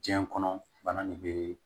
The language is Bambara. Diɲɛ kɔnɔ bana nin bee